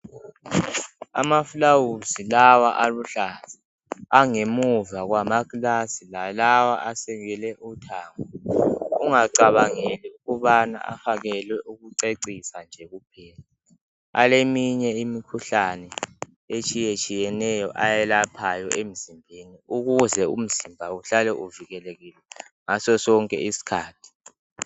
Amaflawuzi lawa aluhlaza Angemuva kwamakilasi, lalawa asekele uthango. Ungacabangeli ukuthi afakelwe ukucecisa nje kuphela. Aleminye imikhuhlane, etshiyetshiyeneyo, awelaphayo emizimbeni. Ukwenzela ukuthi imizimba ihlale ivikelekile, ngaso sonke isikhathi.